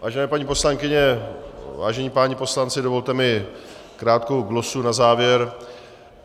Vážené paní poslankyně, vážení páni poslanci, dovolte mi krátkou glosu na závěr.